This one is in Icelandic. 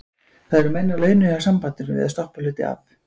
Það eru menn á launum hjá sambandinu við að stoppa hluti af.